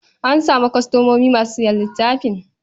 An samu kwastomomi masu sayan littafin?